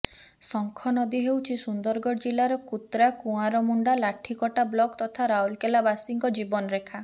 ଶଙ୍ଖ ନଦୀ ହେଉଛି ସୁନ୍ଦରଗଡ଼ ଜିଲ୍ଲାର କୁତ୍ରା କୁଆରମୁଣ୍ଡା ଲାଠିକଟା ବ୍ଲକ୍ ତଥା ରାଉରକେଲାବାସୀଙ୍କ ଜୀବନ ରେଖା